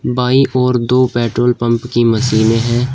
बाईं ओर दो पेट्रोल पंप की मशीनें हैं।